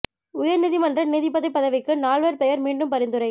உயர் நீதிமன்ற நீதிபதி பதவிக்கு நால்வர் பெயா் மீண்டும் பரிந்துரை